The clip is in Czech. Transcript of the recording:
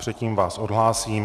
Předtím vás odhlásím...